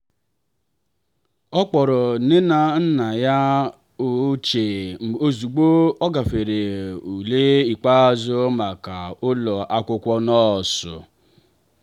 ọ kpọrọ nne na nna ya ochie ozugbo ọ gafere ule ikpeazụ maka ụlọ akwụkwọ nọọsụ.